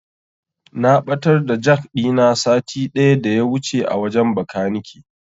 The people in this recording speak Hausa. Na ɓatar da jak ɗina sati ɗaya daya wuce a wajen Bakanike.